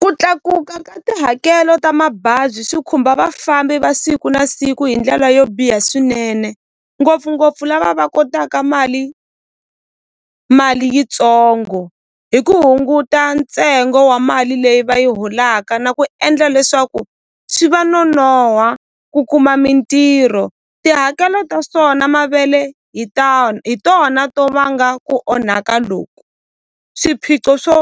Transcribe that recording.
Ku tlakuka ka tihakelo ta mabazi swi khumba vafambi va siku na siku hi ndlela yo biha swinene ngopfungopfu lava va kotaka mali mali yitsongo hi ku hunguta ntsengo wa mali leyi va yi holaka na ku endla leswaku swi va nonoha ku kuma mintirho tihakelo ta swona mavele hi hi tona to vanga ku onhaka loku swiphiqo swo